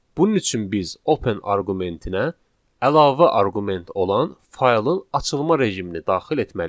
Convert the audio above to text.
Bunun üçün biz open arqumentinə əlavə arqument olan faylın açılma rejimini daxil etməliyik.